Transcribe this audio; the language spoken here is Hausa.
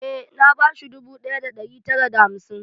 Eh, na ba shi dubu ɗaya da ɗari tara da hamsin.